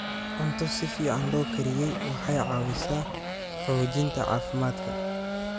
Cunto si fiican loo kariyey waxay caawisaa xoojinta caafimaadka.